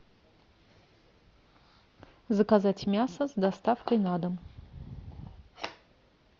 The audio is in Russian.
заказать мясо с доставкой на дом